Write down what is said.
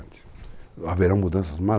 Haverão mudanças